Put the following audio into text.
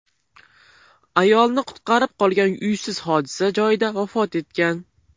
Ayolni qutqarib qolgan uysiz hodisa joyida vafot etgan.